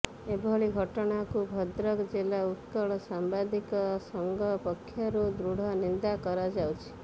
ଏଭଳି ଘଟଣାକୁ ଭଦ୍ରକ ଜିଲ୍ଲା ଉତ୍କଳ ସାମ୍ବାଦିକ ସଂଘ ପକ୍ଷରୁ ଦୃଢ ନିନ୍ଦା କରାଯାଉଅଛି